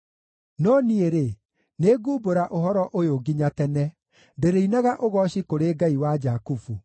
No niĩ-rĩ, nĩngumbũra ũhoro ũyũ nginya tene; ndĩrĩinaga ũgooci kũrĩ Ngai wa Jakubu.